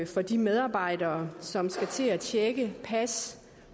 for de medarbejdere som skal til at tjekke pas